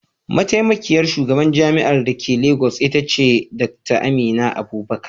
Mataimakiyar shugabar jami'ar da ke Legas ita ce Dr. Amina Abubakar.